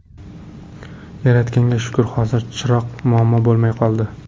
Yaratganga shukr, hozir chiroq muammo bo‘lmay qoldi.